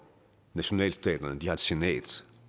nationalstaterne har et senat